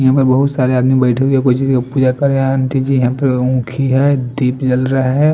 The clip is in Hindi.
यहाँ पर बहुत सारे आदमी बेठे यहाँ पर ये आंटी जी है यहाँ पर हुखी है दीप जल रहा है।